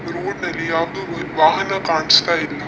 ಈ ರೋಡ್ ನಲ್ಲಿ ಯಾವುದೂ ವಾಹನ ಕಾಣಿಸ್ತಾ ಇಲ್ಲ.